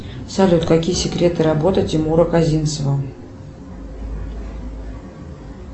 салют какие секреты работы тимура козинцева